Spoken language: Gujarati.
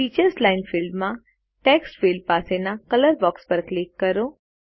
ટીચર્સ લાઇન ફિલ્ડમાં ટેક્સ્ટ ફિલ્ડ પાસેના કલર બોક્સ પર ક્લિક કરો